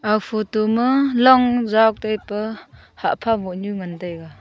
aga photo ma long ja taipa hahpha boh nyu ngan taiga.